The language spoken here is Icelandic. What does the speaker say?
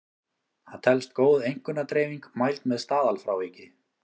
Það telst góð einkunnadreifing mæld með staðalfráviki.